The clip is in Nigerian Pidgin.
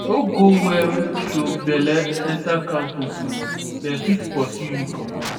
no go wear show belle enta campus o dem fit pursue you comot.